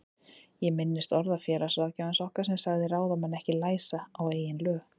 Ég minnist orða félagsráðgjafans okkar sem sagði ráðamenn ekki læsa á eigin lög.